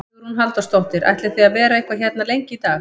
Hugrún Halldórsdóttir: Ætlið þið að vera eitthvað hérna lengi í dag?